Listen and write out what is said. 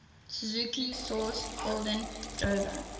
suzuki sourced holden drover